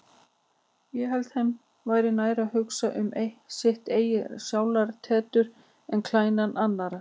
Ég held þeim væri nær að hugsa um sitt eigið sálartetur en klæðnað annarra.